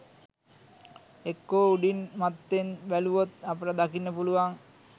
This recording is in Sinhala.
එක්කෝ උඩින් මත්තෙන් බැලුවොත් අපට දකින්න පුළුවන්